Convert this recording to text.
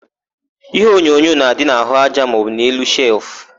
Iheonyonyo na-adị n'àhụ́aja maọbụ n'elu shelfụ.